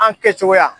An kɛcogoya